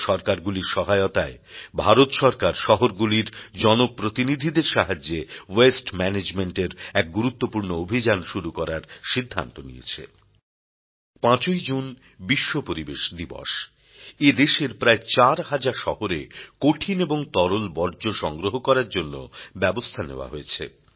রাজ্যসরকারগুলির সহায়তায় ভারত সরকার শহরগুলির জনপ্রতিনিধিদের সাহায্যে ওয়াস্তে ম্যানেজমেন্ট এর এক গুরুত্বপূর্ণ অভিযান শুরু করার সিদ্ধান্ত নিয়েছে ৫ই জুন বিশ্ব পরিবেশ দিবস এ দেশের প্রায় চার হাজার শহরে কঠিন এবং তরল বর্জ্য সংগ্রহ করার জন্য ব্যবস্থা নেওয়া হয়েছে